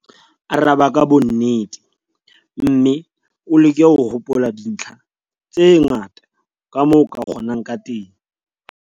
Araba ka bonnete mme o leke ho hopola dintlha tse ngata kamoo o ka kgonang ka teng.